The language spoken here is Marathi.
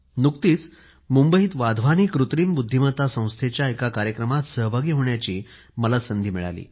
नुकताच मुंबईत वाधवानी कृत्रिम बुद्धिमत्ता संस्थेच्या एका कार्यक्रमात सहभागी होण्याची संधी मला लाभली